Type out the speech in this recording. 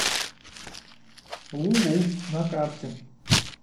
лулу на карте